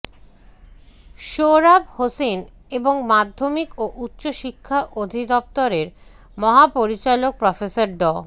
সোহরাব হোসাইন এবং মাধ্যমিক ও উচ্চ শিক্ষা অধিদপ্তরের মহাপরিচালক প্রফেসর ড